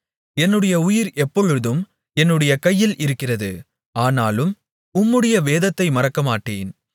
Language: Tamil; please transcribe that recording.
என்னுடைய உயிர் எப்பொழுதும் என்னுடைய கையில் இருக்கிறது ஆனாலும் உம்முடைய வேதத்தை மறக்கமாட்டேன்